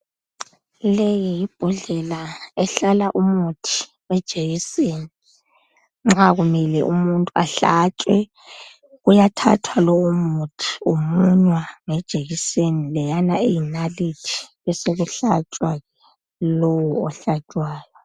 Leyi yi bhodlela ehlala umuthi wejekiseni nxa kumele umuntu ahlatshwe kuyathathwa lowo muthi umunywa ngejekiseni leyana eyinalithi besekuhlatshwa lowo ohlatshwayo.